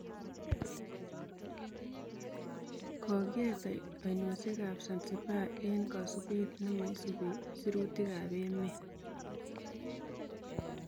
Kokieet ainosiek ab Zanzibar eng� kasubeet nemesubii sirutik ab emet notok